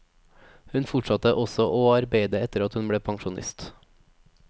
Hun fortsatte også å arbeide etter at hun ble pensjonist.